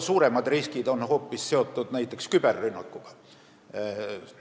Suuremad riskid on hoopis seotud küberrünnakuga.